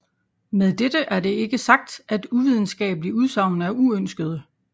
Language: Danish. Med dette er det ikke sagt at uvidenskabelige udsagn er uønskede